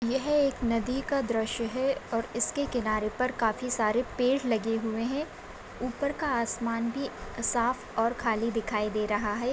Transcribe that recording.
यह एक नदी का दृश्य है और इसके किनारे पर काफी सारे पेड़ लगे हुए है ऊपर का आसमान भी साफ़ और खाली दिखाई दे रहा है।